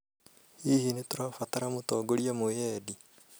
Hihi ni tũrabatara mũtongoria mwĩyendĩ